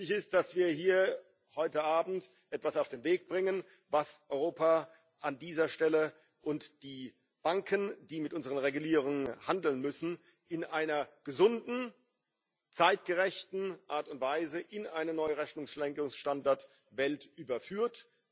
Wichtig ist, dass wir hier heute Abend etwas auf den Weg bringen, was Europa an dieser Stelle und die Banken, die mit unseren Regulierungen handeln müssen, in einer gesunden, zeitgerechten Art und Weise in eine neue Rechnungslegungsstandardwelt überführt.